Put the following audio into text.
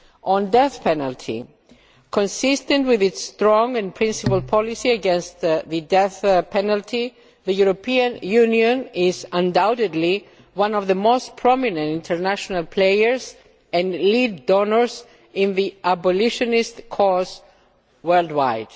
On the death penalty consistent with its strong and principled policy against the death penalty, the European Union is undoubtedly one of the most prominent international players and lead donors in the abolitionist cause worldwide.